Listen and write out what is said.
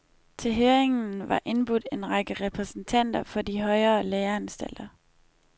Til høringen var indbudt en række repræsentanter for de højere læreanstalter.